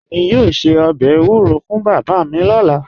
Èmi yoo ṣẹ̀ ọbẹ̀ ewuro fún baba mi lọla